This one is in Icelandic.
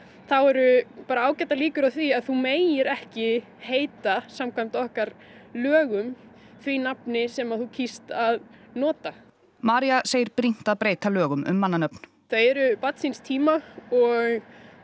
þá eru ágætar líkur á því að þú megir ekki heita samkvæmt okkar lögum því nafni sem þú kýst að nota María segir brýnt að breyta lögum um mannanöfn þau eru barn síns tíma og